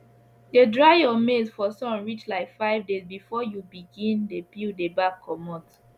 dey dry your maize for sun reach like five days before you begin dey peel the back comot